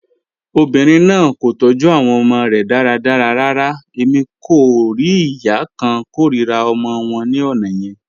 Obinrin naa ko tọju awọn ọmọ rẹ daradara rara, Emi ko rii iya kan korira ọmọ wọn ni ọna yẹn.